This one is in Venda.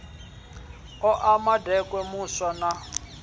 oa makete muswa na u